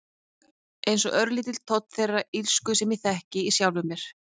Einsog örlítill tónn þeirrar illsku sem ég þekki í sjálfri mér.